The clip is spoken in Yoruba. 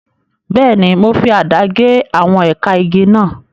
Bẹ́ẹ̀ni, mo fi àdá gé àwọn ẹ̀ka igi náà.